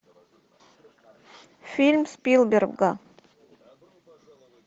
фильм спилберга